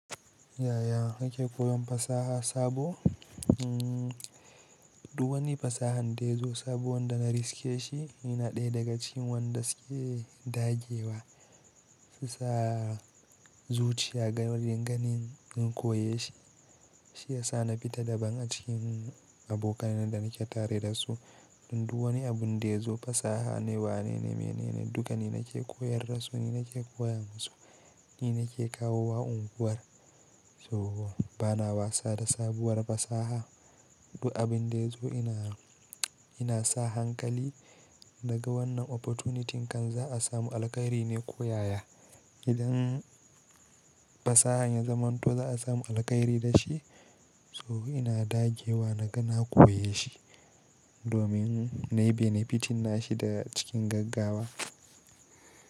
Yaya nake koyon fasaha sabo? Hmm, duk wani fasaha dayazo sabo wanda na riske shi, ina ɗaya daga cikin wanda suke dagewa su sa zuciya ga wajen ganin an koyeshi. Shi yasa na fita dabam a cikin abokan da nake tare da su. Duk wani abun da yazo fasaha ne, wanene, menene duka ni nake koyar da su, ni nake koya musu, ni nake kawo wa unguwar. So bana wasa da sabuwar fasaha. Duk abin dai zo ina, ina sa hankali naga wannan opportunity kan za a samu alheri ne ko yaya. Idan fasahan ya zamanto za a samu alheri da shi, so ina dagewa na gana koyeshi domin na yi benefiting shi da cikin gaggawa.